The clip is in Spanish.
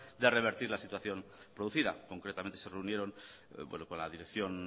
de revertir la situación producida concretamente se reunieron con la dirección